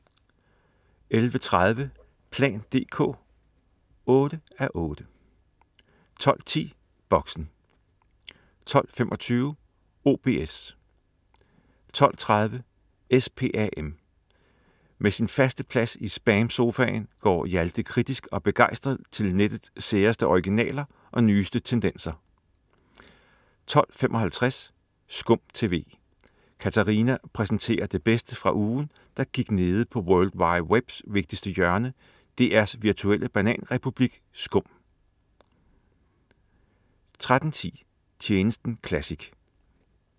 11.30 plan dk 8:8* 12.10 Boxen 12.25 OBS* 12.30 SPAM. Fra sin faste plads i SPAM-sofaen går Hjalte kritisk og begejstret til nettets særeste originaler og nyeste tendenser 12.55 Skum TV. Katarina præsenterer det bedste fra ugen, der gik nede på world wide webs vigtigste hjørne, DR's virtuelle bananrepublik SKUM 13.10 Tjenesten classic*